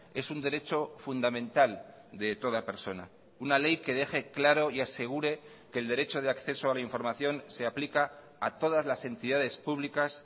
es un derecho fundamental de toda persona una ley que deje claro y asegure que el derecho de acceso a la información se aplica a todas las entidades públicas